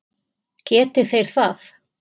Geti þeir það?